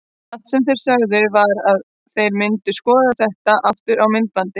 Allt sem þeir sögðu var að þeir myndu skoða þetta aftur á myndbandi.